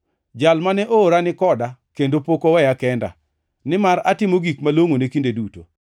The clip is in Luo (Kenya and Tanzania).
Jal mane oora ni koda kendo pok oweya kenda, nimar atimo gik malongʼone kinde duto.”